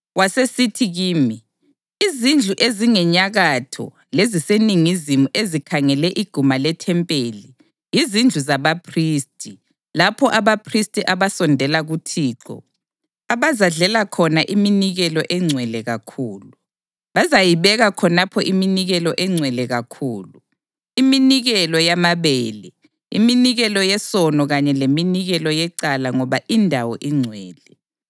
Wasesithi kimi, “Izindlu ezingenyakatho leziseningizimu ezikhangele iguma lethempeli yizindlu zabaphristi lapho abaphristi abasondela kuThixo abazadlela khona iminikelo engcwele kakhulu. Bazayibeka khonapho iminikelo engcwele kakhulu, iminikelo yamabele, iminikelo yesono kanye leminikelo yecala ngoba indawo ingcwele.